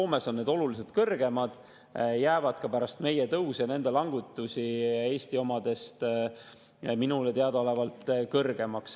Soomes on need oluliselt kõrgemad, jäävad ka pärast meie tõuse ja nende langetusi minule teadaolevalt Eesti omadest kõrgemaks.